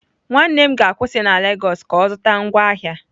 Nwanne m ga-akwụsị na lagos ka ọ zụta ngwaahịa.